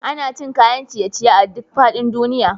Ana cin kayan ciye ciye a duk faɗin duniya.